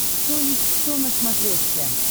кто есть кто на смотрешке